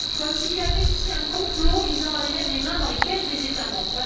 Comme s'il y avait ici un complot visant à aller mettre les mains dans les caisses des États membres!